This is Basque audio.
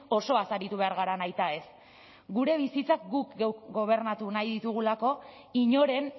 osoaz aritu behar gara nahitaez gure bizitza guk geuk gobernatu nahi ditugulako inoren